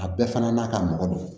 A bɛɛ fana n'a ka mɔgɔ do